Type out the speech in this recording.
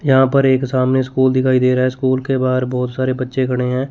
यहां पर एक सामने स्कूल दिखाई दे रहा है स्कूल के बाहर बहोत सारे बच्चे खड़े हैं।